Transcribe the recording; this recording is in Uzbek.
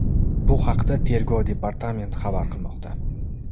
Bu haqda Tergov departamenti xabar qilmoqda .